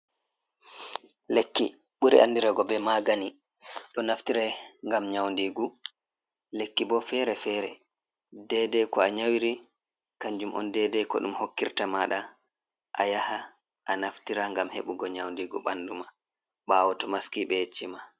Lekki ɓuri andirego be magani do naftira ngam nyaunɗigu lekki bo fere-fere dei dei ko a nyawiri kanjum on dei dei ko ɗum hokkirta maɗa a yaha a naftira ngam heɓugo nyaunɗigu ɓandu ma ɓawo to maski ɓe yecci ma.